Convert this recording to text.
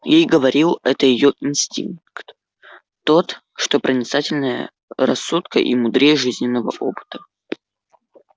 ей говорил это её инстинкт тот что проницательнее рассудка и мудрее жизненного опыта